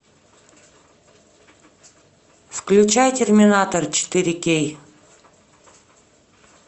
включай терминатор четыре кей